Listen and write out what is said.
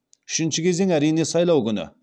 үшінші кезең әрине сайлау күні